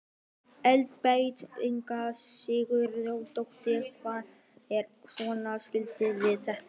Elísabet Inga Sigurðardóttir: Hvað er svona skemmtilegt við þetta?